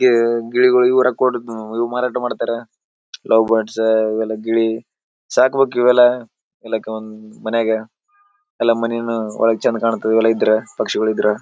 ಈ ಗಿಳಿಗೋಳ್ ಇವ್ರು ಮಾರಾಟ ಮಾಡುತ್ತಾರ ಲವ್ ಬರ್ಡ್ಸ್ ಇವೆಲ್ಲ ಗಿಳಿ ಸಾಕ್ಬೇಕ್ ಇವೆಲ್ಲ. ಮನ್ಯಾಗ ಎಲ್ಲ ಮನಿನು ಒಳಗ ಚಂದ ಕಾಣ್ತದ ಒಳಗ ಇದ್ರ ಪಕ್ಷಿಗಳ ಇದ್ರ.